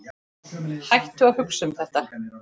Hættu að hugsa um þetta.